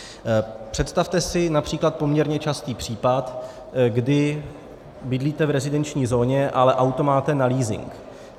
Představte si například poměrně častý případ, kdy bydlíte v rezidenční zóně, ale auto máte na leasing.